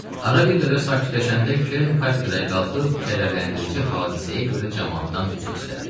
Ara bir qədər sakitləşəndə Kern kafedraya qalxıb kədərləndirici hadisəyə görə camaatdan üzr istədi.